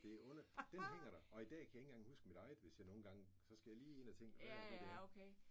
Det et under. Den hænger der. Og i dag kan jeg ikke engang huske mit eget hvis jeg nogle gange så skal jeg lige ind og tænke hvad er det nu det er